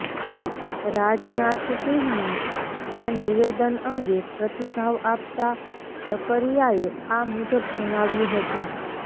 રાજનાથસિંહના આ નિવેદન અંગે પ્રતિભાવ આપતાં ઝકરિયાએ આ મુજબ જણાવ્યું હતું